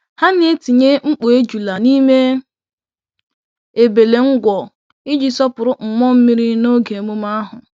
Ha na-etinye mkpọ́ ejula n'ime ebele-ngwọ iji sọpụrụ mmụọ mmiri n'oge emume ahụ.